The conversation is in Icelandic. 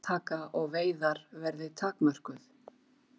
Eggjataka og veiðar verði takmörkuð